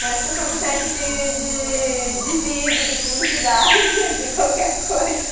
Parece que eu estou no teste de de, de vídeo, de publicidade, de qualquer coisa.